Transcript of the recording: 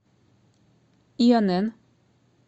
инн